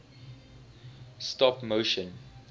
stop motion